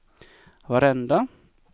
varenda